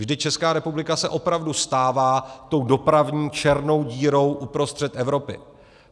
Vždyť Česká republika se opravdu stává tou dopravní černou dírou uprostřed Evropy.